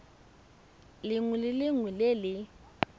lengwe le lengwe le le